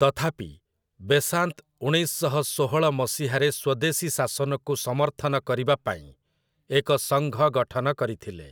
ତଥାପି, ବେସାନ୍ତ୍ ଉଣେଇଶ ଶହ ଷୋହଳ ମସିହାରେ ସ୍ୱଦେଶୀ ଶାସନକୁ ସମର୍ଥନ କରିବା ପାଇଁ ଏକ ସଙ୍ଘ ଗଠନ କରିଥିଲେ ।